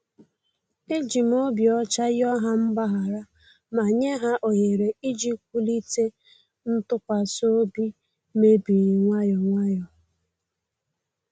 E jim obi ocha yoo ha mgbaghara ma nye ha ohere iji wulite ntụkwasị obi mebiri nwayọ nwayọ